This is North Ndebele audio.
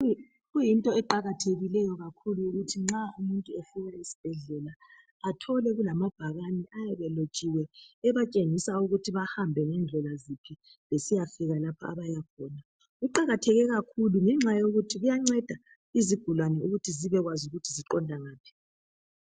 Kuyinto eqakathekileyo kakhulu ukuthi nxa umuntu efika esibhedlela athole kulamabhakane ayabe elotshiwe ebatshengisa ukuthi bahambe ngendlela ziphi besiya fika lapha abaya khona. Kuqakatheke kakhulu ngenxa yokuthi kuyanceda izigulani ukuthi zibe kwazi ukuthi ziqonda ngaphi.